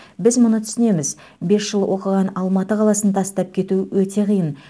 біз мұны түсінеміз бес жыл оқыған алматы қаласын тастап кету өте қиын